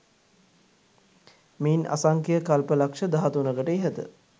මෙයින් අසංඛ්‍ය කල්ප ලක්‍ෂ දහතුනකට ඉහත